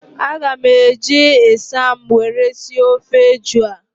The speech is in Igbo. A ga m eji ịsam were sie ofe eju a